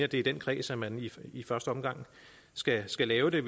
i den kreds at man i første omgang skal skal lave det